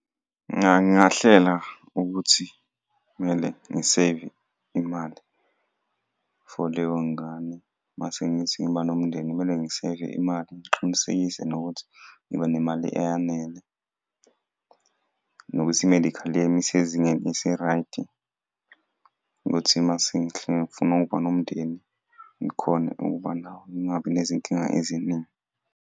Ngingahlela ukuthi kumele ngiseyive imali for leyo ngane mase ngithi ngiba nomndeni kumele ngiseyive imali ngiqinisekise nokuthi ngiba nemali eyanele, nokuthi i-medical yami isezingeni, iseraydi ukuthi uma sengihlela ngifuna ukuyobona umndeni, ngikhone ukuba nawo, ngingabi nezinkinga eziningi.